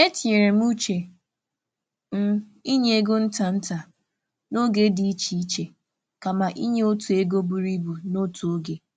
E tinyere m uche m n’inye ego nta nta n’oge dị iche iche kama inye otu ego buru ibu n’otu oge.